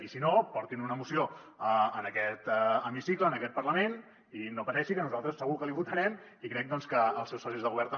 i si no portin una moció a aquest hemicicle a aquest parlament i no pateixi que nosaltres segur que li votarem i crec doncs que els seus socis de govern també